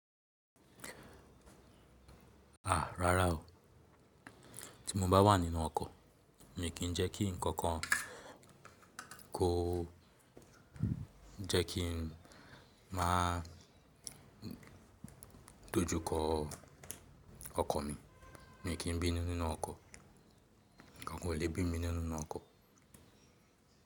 À, rárá o. Tí mo bá wà nínú ọkọ̀, mi kì í jẹ́ kí ǹkan kan kó jẹ́ kí n má dó jú kọ ọkọ̀ mi. Mi ki bínú nínú okò, nkan kan o le bi mi nínú okò.